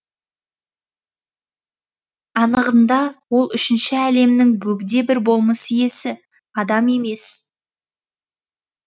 анығында ол үшінші әлемнің бөгде бір болмыс иесі адам емес